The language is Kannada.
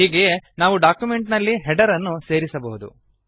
ಹೀಗೆಯೇ ನಾವು ಡಾಕ್ಯುಮೆಂಟ್ ನಲ್ಲಿ ಹೆಡರ್ ಅನ್ನು ಸೇರಿಸಬಹುದು